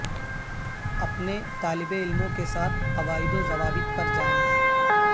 اپنے طالب علموں کے ساتھ قواعد و ضوابط پر جائیں